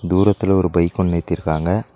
தூரத்துல ஒரு பைக் ஒன்னு நிறுத்திருக்காங்க.